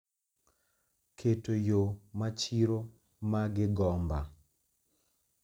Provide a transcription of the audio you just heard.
Keto yo ma chiro ma gigomba